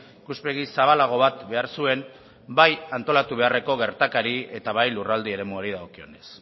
ikuspegi zabalago bat behar zuen bai antolatu beharreko gertakari eta bai lurralde eremuari dagokionez